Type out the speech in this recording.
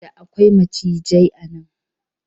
Da akwai macijai a nan.